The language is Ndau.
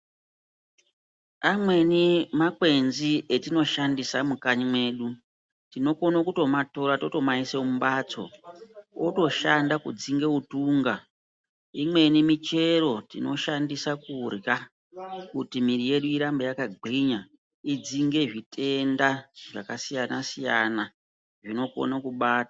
Amweni makwenzi etinoshandisa mukanyi mwedu, tinokona kutomatora totomayisa mumbatso, otoshanda kudzinga utunga, imweni michero tinoshandiswa kurya kuti miri yedu irambe yakagwinya, idzinge zvitenda zvakasiyana-siyana zvinokona kubata.